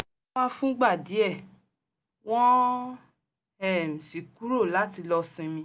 wọ́n wá fúngbà díẹ̀ wọ́n um sì kúrò láti lọ sinmi